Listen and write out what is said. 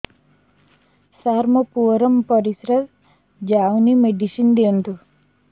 ସାର ମୋର ପୁଅର ପରିସ୍ରା ଯାଉନି ମେଡିସିନ ଦିଅନ୍ତୁ